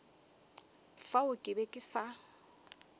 fao ke be ke sa